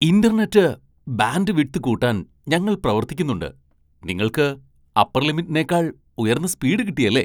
Internet bandwidth കൂട്ടാൻ ഞങ്ങൾ പ്രവർത്തിക്കുന്നുണ്ട് ,നിങ്ങൾക്ക് അപ്പർ ലിമിറ്റിനേക്കാൾ ഉയർന്ന സ്പീഡ് കിട്ടിയല്ലേ!